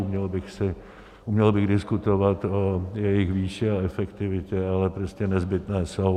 Uměl bych diskutovat o jejich výši a efektivitě, ale prostě nezbytné jsou.